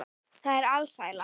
Það er alsæla.